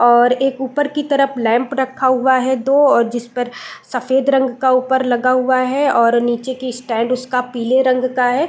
और एक ऊपर की तरफ लैंप रखा हुआ है दो जिस पर सफेद रंग का ऊपर लगा हुआ है और नीचे की स्टैंड उसका पीले रंग का है।